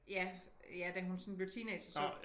Ja ja da hun sådan blev teenager så